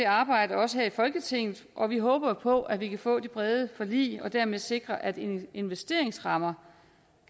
arbejde også her i folketinget og vi håber på at vi kan få det brede forlig og dermed sikre at investeringsrammerne